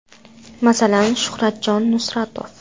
Masalan, Shuhratjon Nusratov.